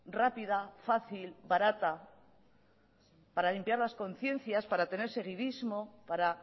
rápida fácil barata para limpiar las conciencias para tener seguidísimo para